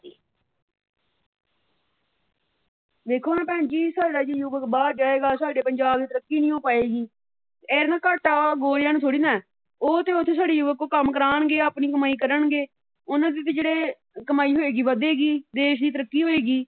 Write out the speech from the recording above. ਵੇਖੋ ਨਾ ਭੈਣ ਜੀ ਜੇ ਸਾਡਾ ਯੁਵੱਕ ਬਾਹਰ ਜਾਏਗਾ ਸਾਡੇ ਪੰਜਾਬ ਦੀ ਤਰੱਕੀ ਨੀ ਹੋ ਪਾਏਗੀ। ਇਹਦਾ ਘਾਟਾ ਗੌਰਿਆਂ ਨੂੰ ਥੌੜ੍ਹੀ ਨਾ ਹੈ। । ਉਹ ਤੇ ਉੱਥੇ ਸਾਡੇ ਯੁਵੱਕ ਤੋਂ ਕੰਮ ਕਰਵਾਉਂਣਗੇ। ਆਪਣੀ ਕਮਾਈ ਕਰਨਗੇ। ਉਹਨਾਂ ਦੀ ਜਿਹੜੇ ਕਮਾਈ ਹੋਏਗੀ ਉਹ ਵਧੇਗੀ। ਦੇਸ਼ ਦੀ ਤਰੱਕ ਹੋਵੇਗੀ।